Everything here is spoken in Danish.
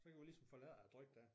Så kan vi ligesom få lettet æ tryk der